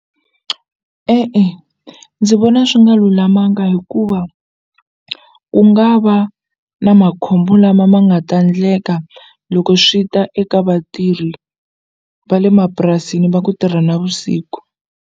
E-e ndzi vona swi nga lulamanga hikuva ku nga va na makhombo lama ma nga ta ndleka loko swi ta eka vatirhi va le mapurasini va ku tirha navusiku.